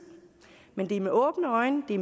men det sker med åbne øjne det